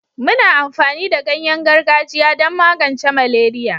muna amfani da ganyen gargajiya don magance maleria